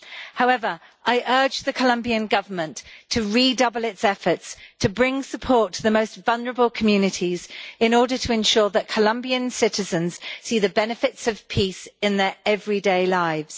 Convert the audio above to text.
However, I urge the Colombian Government to redouble its efforts to bring support to the most vulnerable communities in order to ensure that Colombian citizens see the benefits of peace in their everyday lives.